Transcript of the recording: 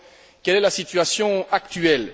Quelle est la situation actuelle?